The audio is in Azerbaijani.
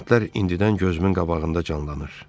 Kəndlər indidən gözümün qabağında canlanır.